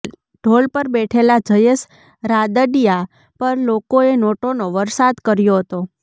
ઢોલ પર બેઠેલા જયેશ રાદડિયા પર લોકોએ નોટોનો વરસાદ કર્યો હતો